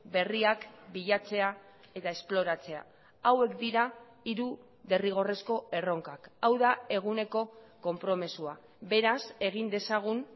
berriak bilatzea eta esploratzea hauek dira hiru derrigorrezko erronkak hau da eguneko konpromisoa beraz egin dezagun